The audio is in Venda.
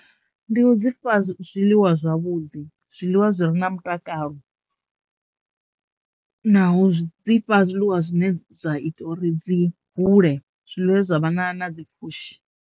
Ndi u dzi fha zwiḽiwa zwavhudi zwiḽiwa zwi re na mutakalo na u zwi dzi fha zwiḽiwa zwine zwa ita uri dzi hule zwine zwa vha na na na dzi pfhushi.